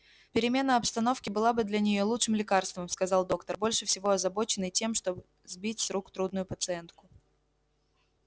перемена обстановки была бы для нее лучшим лекарством сказал доктор больше всего озабоченный тем чтобы сбыть с рук трудную пациентку